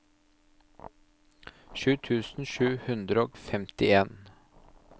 sju tusen sju hundre og femtien